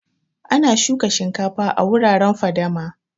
Ana shukan shinkafa a wuraren fadama